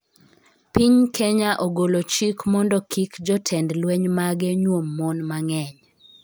Piny Kenya ogolo chik mondo kik jotend lweny mage nyuom mon mang'eny